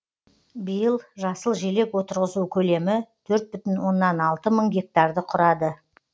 биыл жасыл желек отырғызу көлемі төрт бүтін оннан алты мың гектарды құрады